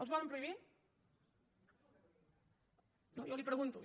els volen prohibir no jo li ho pregunto